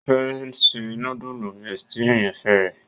O fẹ ṣe.nudulu bestie àyànfẹ rẹ.